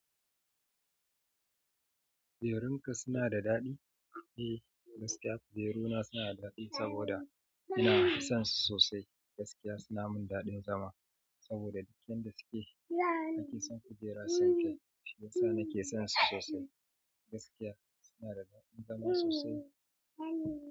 Berunka suna da daɗi? Eh, gaskiya. Beruna suna da daɗi saboda ina san su sosai. Gaskiya suna mun daɗin zama saboda yan da suke ake son kujera samke. Shiyasa nake son su sosai. Gaskiya suna da daɗin zama sosai.